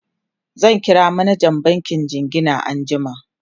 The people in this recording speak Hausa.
zan kira manjan bankin jingina anjiama